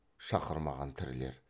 шақырмаған тірілер